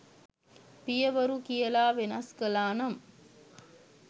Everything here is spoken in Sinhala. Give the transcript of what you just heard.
“පිය වරු” කියලා වෙනස් කලානම්